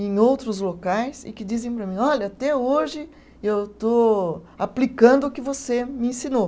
em outros locais e que dizem para mim, olha, até hoje eu estou aplicando o que você me ensinou.